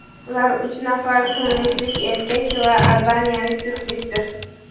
Ular uch nafar tunislik erkak va albaniyalik juftlikdir.